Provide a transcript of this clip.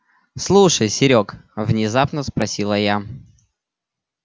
слушай серёг внезапно спросила я